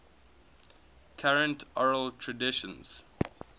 current oral traditions